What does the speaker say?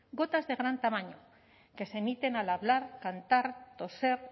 gotas de gran tamaño que se emiten al hablar cantar toser